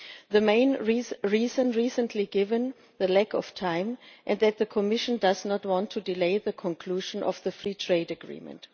The main reason recently given was the lack of time and the fact that the Commission does not want to delay the conclusion of the free trade agreement.